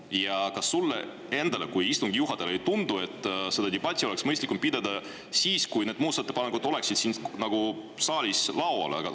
Ja kas sulle endale kui istungi juhatajale ei tundu, et seda debatti oleks mõistlikum pidada siis, kui need muudatusettepanekud oleksid saalis?